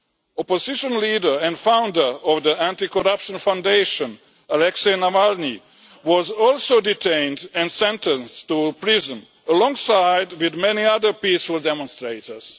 Opposition leader and founder of the Anticorruption Foundation, Alexei Navalny, was also detained and sentenced to prison, alongside many other peaceful demonstrators.